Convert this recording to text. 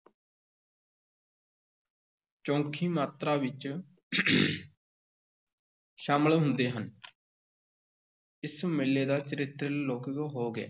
ਚੋਖੀ ਮਾਤਰਾ ਵਿੱਚ ਸ਼ਾਮਲ ਹੁੰਦੇ ਹਨ ਇਸ ਮੇਲੇ ਦਾ ਚਰਿੱਤਰ ਲੌਕਿਕ ਹੋ ਗਿਆ।